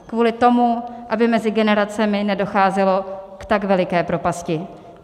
Kvůli tomu, aby mezi generacemi nedocházelo k tak veliké propasti.